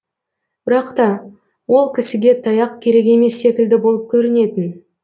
бірақта ол кісіге таяқ керек емес секілді болып көрінетін